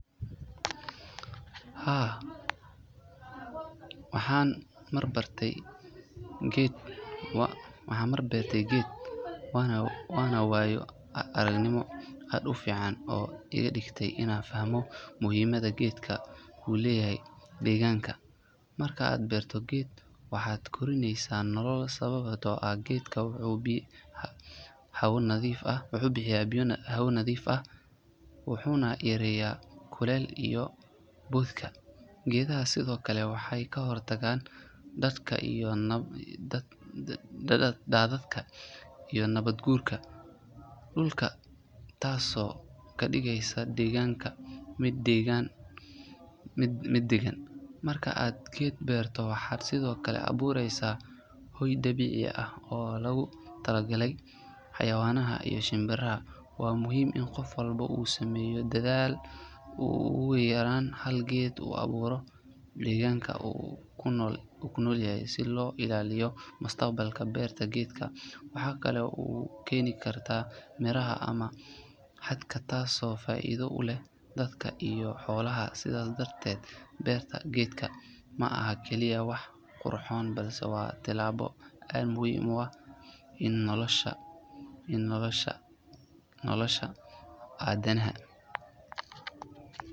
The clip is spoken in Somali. Haa waxan mar bartay geed wana wayo aragnimo ad ufican iga digtay ina fahmo muhimada gedka uu leyahay diganka. Marka ad beerto geedka waxad korineysa nolal sababed o ad geedka hawa nadhif ah waxa ubixiya hawa nadhif ah. Wuxuna yareeya kuleyl iyo bothka. Geedaha sido kale waxay kahortagan dadadka iyo nabad guurka duulka tas o kadigeysa diganka mid dagan marka ad geed berto waxad sidho kale abuureysa hooy dabici aah o lagu talagalay xayawanaha iyo shimbiraha wa muhim in qaf walbo u sameeyo dadaal uguyaran hal geed uu abuuro diganka u kunol yahy si lo ilaaliyo mustaqbalka berta gedka. Waxa kale u keeni karta miraha ama xadka taaso faido u leeh dadka iyo xolaha sidas darteed beerta gedka maaha kaliya wax qurxoon balse wa tilabo ad muhim u aah in nolasha adanaha